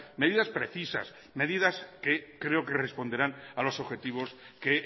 medidas precisas medidas que creo que responderán a los objetivos que